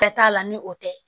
Bɛɛ t'a la ni o tɛ